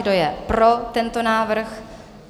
Kdo je pro tento návrh?